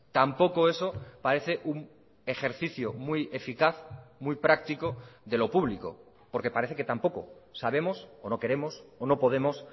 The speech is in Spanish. tampoco eso parece un ejercicio muy eficaz muy práctico de lo público porque parece que tampoco sabemos o no queremos o no podemos